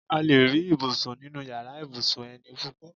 A lè rí ibùsùn nínu yàrá ibùsùn eni púpọ̀